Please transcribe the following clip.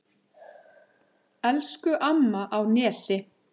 Elsku amma á Nesi.